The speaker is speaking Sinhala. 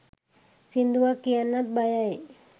සින්දුවක් කියන්නත් බයයි